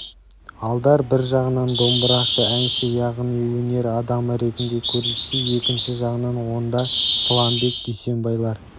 алдар бір жағынан домбырашы әнші яғни өнер адамы ретінде көрінсе екінші жағынан онда сламбек дүйсенбайлар